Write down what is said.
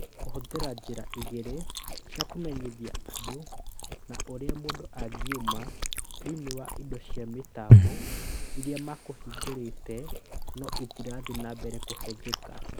Kũhũthĩra njĩra igĩrĩ cia kũmenyithia andũ na ũrĩa mũndũ angĩkiuma thĩinĩ wa indo cia mĩtambo iria mekũhingũrĩte no itirathiĩ na mbere kũhũthĩka